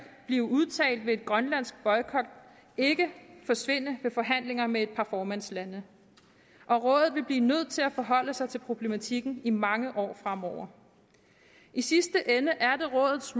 blive udtalt ved en grønlandsk boykot ikke forsvinde ved forhandlinger med et par formandslande og rådet vil blive nødt til at forholde sig til problematikken i mange år fremover i sidste ende er det rådets